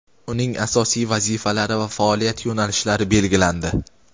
uning asosiy vazifalari va faoliyat yo‘nalishlari belgilandi.